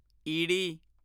ਈੜੀ